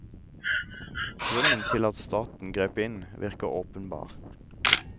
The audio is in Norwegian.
Grunnen til at staten grep inn virker åpenbar.